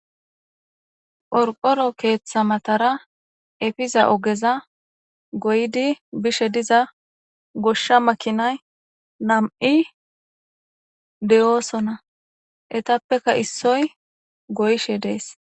Qorqoro keeththa matara efiza ogeza goydi bishe diza goshsha makinay nam'i deyoosona etappeka issoy goyshe dees.